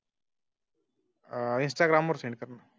आह इंस्टाग्राम वर शेअर.